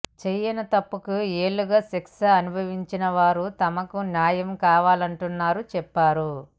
చేయని తప్పుకు ఏళ్లుగా శిక్ష అనుభవించినవారు తమకు న్యాయం కావాలంటున్నారని చెప్పారు